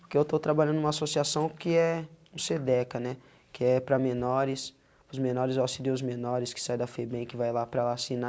Porque eu estou trabalhando numa associação que é o CEDECA, né, que é para menores, os menores auxílios menores que saem da FEBEM, que vai lá para lá assinar.